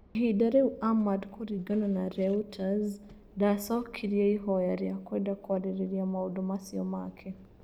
Ihinda rĩu Ahmad kũringana na Reūters ndacokirie ihoya rĩa Kwenda kwarĩrĩria maũndũ macio make